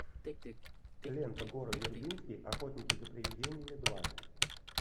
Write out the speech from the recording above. лента гора вербински охотники за привидениями два